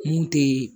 Mun tɛ